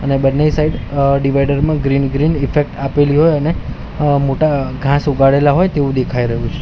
અને બંને સાઈડ અ ડિવાઈડર મા ગ્રીન ગ્રીન ઇફેક્ટ આપેલી હોય અને અ મોટા અ ઘાસ ઉગાડેલા હોય તેવુ દેખાય રહ્યું છે.